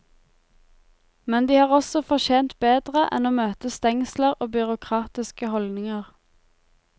Men de har også fortjent bedre enn å møte stengsler og byråkratiske holdninger.